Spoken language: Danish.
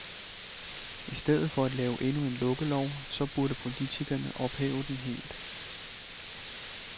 I stedet for at lave endnu en lukkelov, så burde politikerne ophæve den helt.